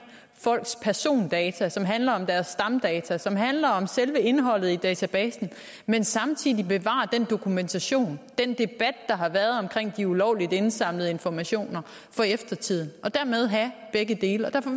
folks persondata som handler om deres stamdata som handler om selve indholdet i databasen men samtidig bevare den dokumentation og den debat der har været omkring de ulovligt indsamlede informationer for eftertiden og dermed have begge dele derfor